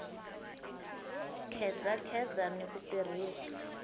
a khedzakheza ni ku tirhisa